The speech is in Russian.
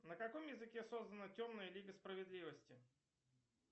на каком языке создана темная лига справедливости